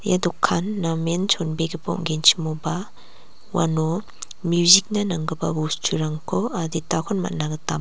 ia dokan namen chonbegipa ong·genchimoba uano music-na nanggipa bosturangko aditakon man·a gita--